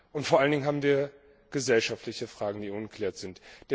und vor allen Dingen haben wir gesellschaftliche Fragen, die ungeklärt sind.